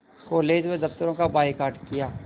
college व दफ़्तरों का बायकॉट किया